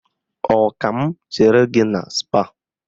Ọ ka m chere gị na Spáà?